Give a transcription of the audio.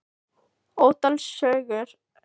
Ótal sögur gengu af honum, bæði sannar og ýktar.